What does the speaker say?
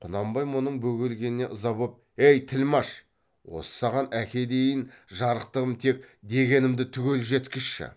құнанбай мұның бөгелгеніне ыза боп ей тілмәш осы саған әке дейін жарықтығым тек дегенімді түгел жеткізші